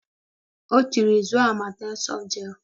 O tiiri, zụọ Amakem Sọft Jel.